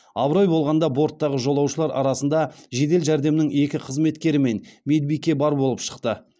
абырой болғанда борттағы жолаушылар арасында жедел жәрдемнің екі қызметкері мен медбике бар болып шықты